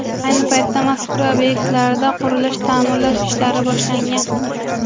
Ayni paytda mazkur obyektlarda qurilish-ta’mirlash ishlari boshlangan.